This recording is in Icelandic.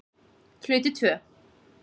Hluti II